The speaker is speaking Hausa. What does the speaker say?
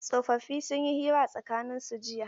Tsofaffi sun yi hira a tsakanin su jiya.